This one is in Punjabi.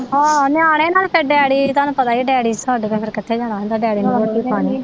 ਆਹੋ ਨਿਆਣੇ ਨਾਲੇ ਫਿਰ ਡੈਡੀ ਤੁਹਾਨੂੰ ਪਤਾ ਈਆ ਡੈਡੀ ਛੱਡ ਕੇ ਫਿਰ ਕਿਥੇ ਜਾਣਾ ਹੁੰਦਾ ਡੈਡੀ ਨੂੰ ਫਿਰ ਰੋਟੀ ਪਾਣੀ